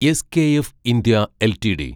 SKF India LTD